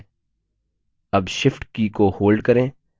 अब shift की को hold करें